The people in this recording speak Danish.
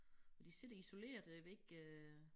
Og de sidder isolerede jeg ved ikke øh